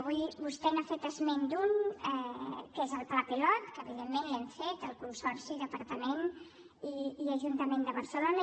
avui vostè n’ha fet esment d’una que és el pla pilot que evidentment l’hem fet el consorci el departament i l’ajuntament de barcelona